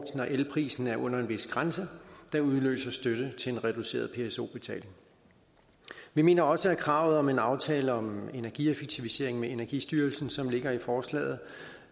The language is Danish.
elprisen er under en vis grænse der udløser støtte til reduceret pso betaling vi mener også at kravet om en aftale om energieffektivisering med energistyrelsen som ligger i forslaget